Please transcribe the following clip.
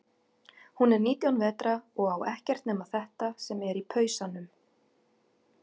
Hún er nítján vetra og á ekkert nema þetta sem er í pausanum.